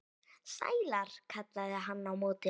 Sælar, kallaði hann á móti.